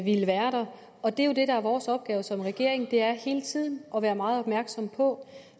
ville være der og det der jo er vores opgave som regering er hele tiden at være meget opmærksom på